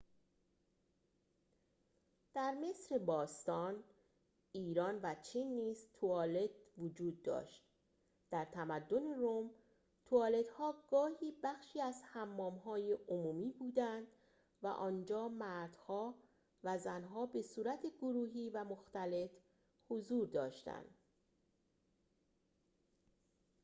در مصر باستان ایران و چین نیز توالت وجود داشت در تمدن روم توالت‌ها گاهی بخشی از حمام‌های عمومی بودند و آنجا مردها و زن‌ها به‌صورت گروهی و مختلط حضور داشتند